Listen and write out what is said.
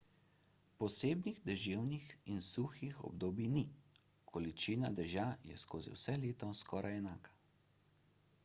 posebnih deževnih in suhih obdobij ni količina dežja je skozi vse leto skoraj enaka